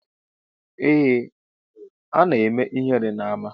Eeh ana eme ihere na ama.